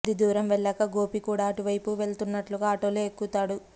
కొద్ది దూరం వెళ్లాక గోపీ కూడా ఆటు వైపు వెళుతున్నట్లుగా ఆటోలో ఎక్కుతాడు